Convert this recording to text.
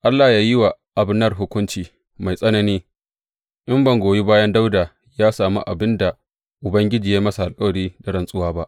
Allah yă yi wa Abner hukunci mai tsanani, in ban goyi bayan Dawuda ya sami abin da Ubangiji ya yi masa alkawari da rantsuwa ba.